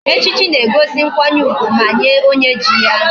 Echichi na egosi nkwanye ugwu Nye onye ji ya